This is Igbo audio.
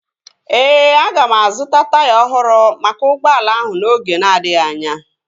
Ee, aga m azụta taya ọhụrụ maka ụgbọala ahụ n'oge na-adịghị anya